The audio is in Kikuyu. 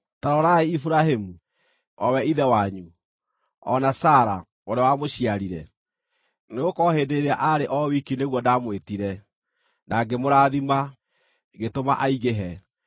ta rorai Iburahĩmu, o we ithe wanyu, o na Sara, ũrĩa wamũciarire. Nĩgũkorwo hĩndĩ ĩrĩa aarĩ o wiki nĩguo ndamwĩtire, na ngĩmũrathima, ngĩtũma aingĩhe.